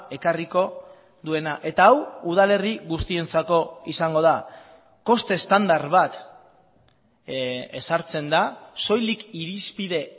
ekarriko duena eta hau udalerri guztientzako izango da koste estandar bat ezartzen da soilik irizpide